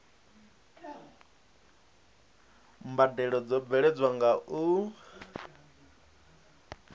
mbadelo dzo bveledzwaho nga u